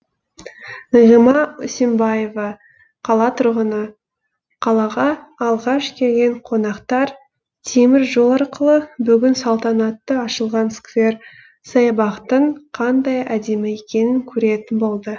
нағима үсенбаева қала тұрғыны қалаға алғаш келген қонақтар темір жол арқылы бүгін салтанатты ашылған сквер саябақтың қандай әдемі екенін көретін болды